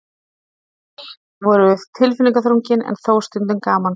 Samtöl voru tilfinningaþrungin en þó stundum gamansöm.